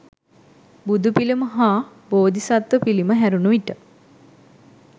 බුදු පිළිම හා බෝධිසත්ව පිළිම හැරුණු විට